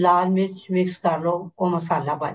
ਲਾਲ ਮਿਰਚ mix ਕਰਲੋ ਉਹ ਮਸਾਲਾ ਬਣ